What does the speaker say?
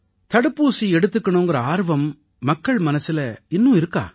தடுப்பூசி எடுத்துக்கணுங்கற ஆர்வம் மக்கள் மனசுல இன்னும் இருக்கா